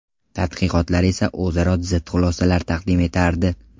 Tadqiqotlar esa o‘zaro zid xulosalar taqdim etardi.